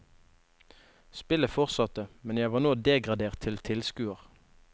Spillet fortsatte, men jeg var nå degradert til tilskuer.